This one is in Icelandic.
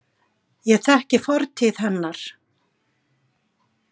Ég þekki fortíð hennar.